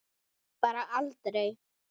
Bara aldrei.